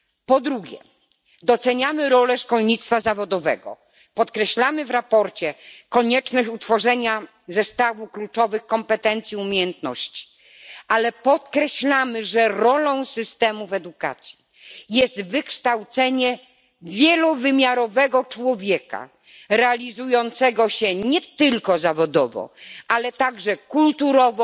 Po drugie, doceniamy rolę szkolnictwa zawodowego, podkreślamy w sprawozdaniu konieczność utworzenia zestawu kluczowych kompetencji, umiejętności, ale przypominamy, że rolą systemów edukacji jest wykształcenie wielowymiarowego człowieka realizującego się nie tylko zawodowo, ale także kulturowo,